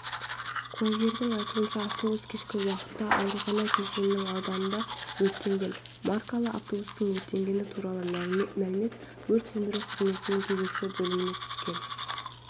куәгерлердің айтуынша автобус кешкі уақытта аурухана кешенінің ауданында өртенген маркалы автобустың өртенгені туралы мәлімет өрт сөндіру қызметінің кезекші бөліміне түскен